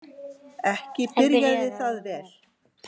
Ekki byrjaði það vel.